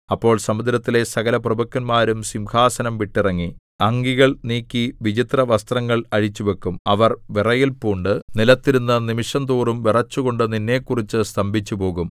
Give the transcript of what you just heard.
അപ്പോൾ സമുദ്രത്തിലെ സകലപ്രഭുക്കന്മാരും സിംഹാസനം വിട്ടിറങ്ങി അങ്കികൾ നീക്കി വിചിത്രവസ്ത്രങ്ങൾ അഴിച്ചുവയ്ക്കും അവർ വിറയൽപൂണ്ട് നിലത്തിരുന്ന് നിമിഷംതോറും വിറച്ചുകൊണ്ട് നിന്നെക്കുറിച്ച് സ്തംഭിച്ചുപോകും